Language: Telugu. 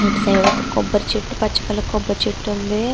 ఇటు సైడ్ ఒక కొబ్బరి చెట్టు పచ్చ కలర్ కొబ్బరి చెట్టు ఉంది.